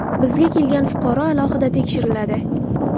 Bizga kelgan fuqaro alohida tekshiriladi.